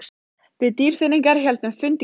Við Dýrfirðingar héldum fund í gær.